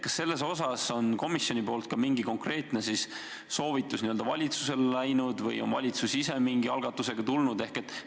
Kas selles osas on komisjonilt ka mingisugune konkreetne soovitus valitsusele läinud või on valitsus ise mõne algatusega välja tulnud?